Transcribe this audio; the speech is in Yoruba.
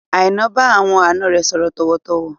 Aina bá àwọn àna rẹ sọ̀rọ̀ tọ̀wọ̀-tọ̀wọ̀